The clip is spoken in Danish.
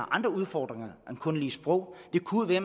andre udfordringer end kun lige sproget det kunne være